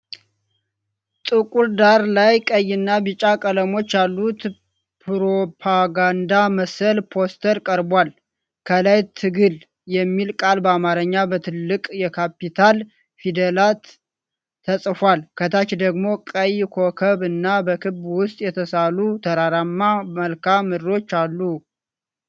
ጥቁር ዳራ ላይ ቀይና ቢጫ ቀለሞች ያሉት ፕሮፓጋንዳ መሰል ፖስተር ቀርቧል። ከላይ "ትግል" የሚል ቃል በአማርኛ በትልቅ የካፒታል ፊደላት ተጽፏል። ከታች ደግሞ ቀይ ኮከብ እና በክብ ውስጥ የተሳሉ ተራራማ መልክዓ ምድሮች አሉ።